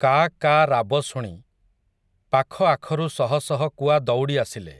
କା' କା' ରାବ ଶୁଣି, ପାଖଆଖରୁ ଶହ ଶହ କୁଆ ଦଉଡ଼ି ଆସିଲେ ।